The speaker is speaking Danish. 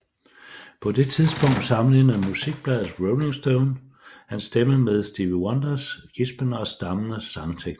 På det tidspunkt sammenlignede musikbladet Rolling Stone hans stemme med Stevie Wonders gispende og stammende sangteknik